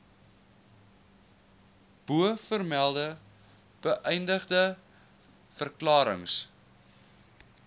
bovermelde beëdigde verklarings